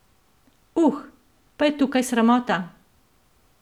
Uh, pa je tukaj sramota!